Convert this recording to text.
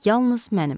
Yalnız mənim.